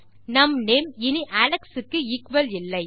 நம் நேம் இனி அலெக்ஸ் க்கு எக்குவல் இல்லை